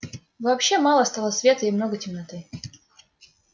вообще мало стало света и много темноты